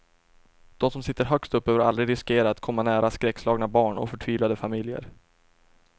Dom som sitter högst upp behöver aldrig riskera att komma nära skräckslagna barn och förtvivlade familjer.